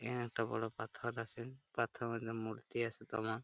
একটা বড় পাথর আছে। পাথর এর মূর্তি আছে দমা ।